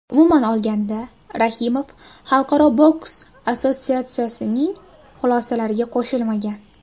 Umuman olganda, Rahimov Xalqaro boks assotsiatsiyasining xulosalariga qo‘shilmagan.